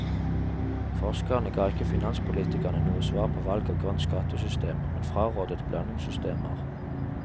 Forskerne ga ikke finanspolitikerne noe svar på valg av grønt skattesystem, men frarådet blandingssystemer.